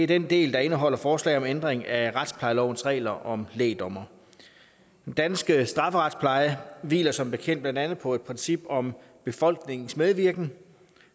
den del der indeholder forslag om ændring af retsplejelovens regler om lægdommere den danske strafferetspleje hviler som bekendt blandt andet på et princip om befolkningens medvirken